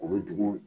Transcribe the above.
U bɛ dugu